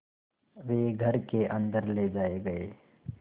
वे घर के अन्दर ले जाए गए